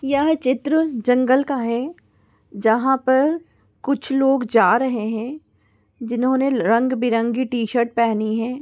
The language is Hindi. यह चित्र जंगल का है जहा पर कुछ लोग जा रहे है जिन्होने रंगीबेरंगी टी शर्ट पहनी है।